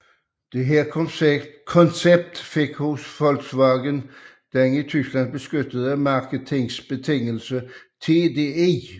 Dette koncept fik hos Volkswagen den i Tyskland beskyttede marketingbetegnelse TDI